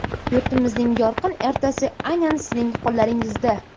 Yurtimizning yorqin ertasi aynan sizning qo‘llaringizda.